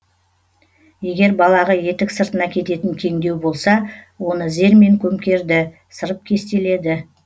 егер балағы етік сыртына кететін кеңдеу болса оны зермен көмкерді сырып кестеледі